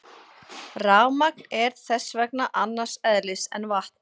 Rafmagn er þess vegna annars eðlis en vatn.